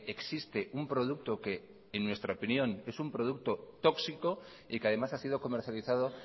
existe un producto que en nuestra opinión es un producto tóxico y que además ha sido comercializado